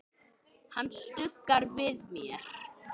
Hann stuggar við mér.